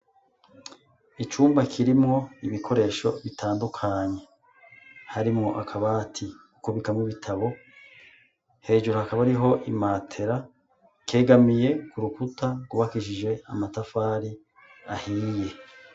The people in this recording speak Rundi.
Icumba kirimwo ibikoresho bitandukanye, harimwo akabati ko kubikamwo ibitabo, hejuru hakaba hariho imatera, kegamiye k'urukuta rwubakishije amatafari ahiye.